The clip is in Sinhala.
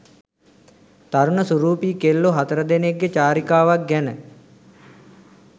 තරුණ සුරූපී කෙල්ලො හතර දෙනෙක්ගෙ චාරිකාවක් ගැන